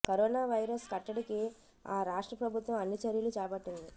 corona virus కట్టడికి ఆ రాష్ట్ర ప్రభుత్వం అన్ని చర్యలూ చేపట్టింది